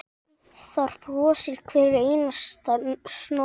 Þar brosir hver einasta snót.